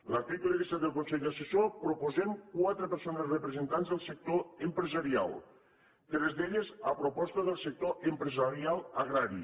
l’article disset del consell assessor proposem quatre persones representants del sector empresarial tres d’elles a proposta del sector empresarial agrari